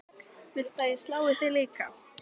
Viltu að ég slái þig líka?